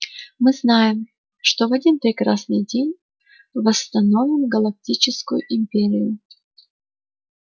мы знаем что в один прекрасный день восстановим галактическую империю